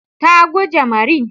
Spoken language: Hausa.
Ta guje marin.